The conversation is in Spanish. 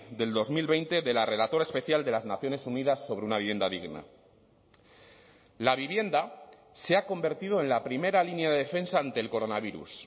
del dos mil veinte de la relatora especial de las naciones unidas sobre una vivienda digna la vivienda se ha convertido en la primera línea de defensa ante el coronavirus